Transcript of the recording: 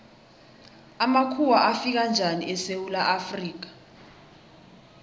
amakhuwa afika njani esewula afrika